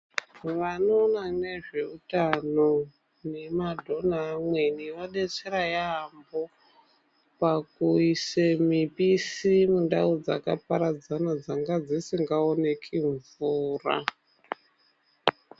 Vanoona nezveutano nemadhona amweni adetsera yaambo pakuisa mipisi mundau dzakaparadzana dzanga dzisikaoneki mvura.